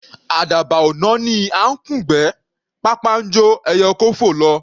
Àdàbà ò náání à ńkùn'gbẹ́; pápá ńjó ẹyẹ oko fò lọ.